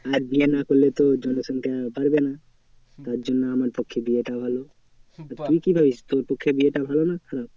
আর বিয়ে না করলে তোর জনসংখ্যা বাড়বে না। তার জন্য আমার পক্ষে বিয়েটা ভালো। তুই কি ভাবিস বিয়েটা ভালো না তো?